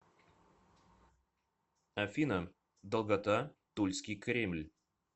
афина долгота тульский кремль